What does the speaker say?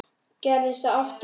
Gerðist það aftur í ár.